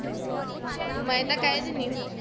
ਮੈਂ ਤਾ ਕਹਿ ਦਿੰਦੀ ਹੁਣ